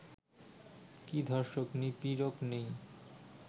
কি ধর্ষক-নিপীড়ক নেই?